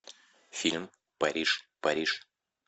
фильм париж париж